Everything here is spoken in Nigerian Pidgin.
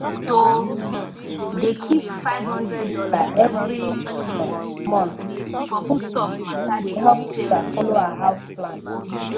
to um dey keep five hundred dollar every um month for foodstuff matter dey help sarah follow her house plan